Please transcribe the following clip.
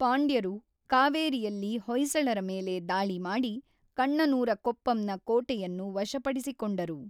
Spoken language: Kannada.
ಪಾಂಡ್ಯರು ಕಾವೇರಿಯಲ್ಲಿ ಹೊಯ್ಸಳರ ಮೇಲೆ ದಾಳಿ ಮಾಡಿ ಕಣ್ಣನೂರ ಕೊಪ್ಪಂನ ಕೋಟೆಯನ್ನು ವಶಪಡಿಸಿಕೊಂಡರು.